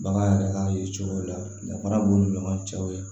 Bagan yɛrɛ ka ye cogo la danfara b'u ni ɲɔgɔn cɛ